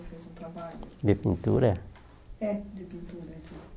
trabalho De pintura É, de pintura.